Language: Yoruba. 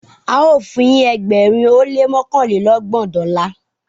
ao fun yin ẹgbẹrin ó lé mọkanlelọgbọn Dọla